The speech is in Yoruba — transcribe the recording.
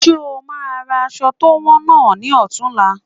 Ṣe o máa ra aṣọ to wọn náà ni ọ̀tunla?